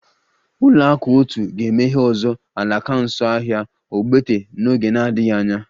Ụlọakụ otu ga-emeghe ọzọ alaka nso ahịa ogbete n'oge na-adịghị anya